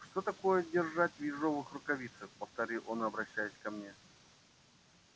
что такое держать в ежовых рукавицах повторил он обращаясь ко мне